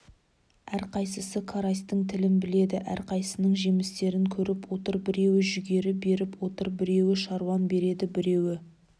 әрқайсысы карасьтің тілін біледі әрқайсысының жемістерін көріп отыр біреуі жүгері беріп отыр біреуі шаушан береді біреуі